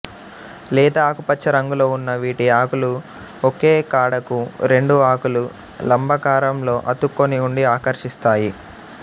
లేత ఆకుపచ్చ రంగులో ఉన్న వీటి ఆకులు ఒకే కాడకు రెండు ఆకులు లంబాకారంలో అతుక్కొని ఉండి ఆకర్షిస్తాయి